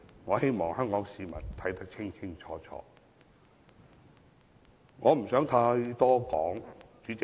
我希望香港市民看得清清楚楚，我不想說太多。